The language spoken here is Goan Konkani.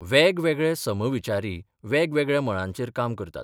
वेगवेगळे समविचारी वेगवेगळ्या मळांचेर काम करतात.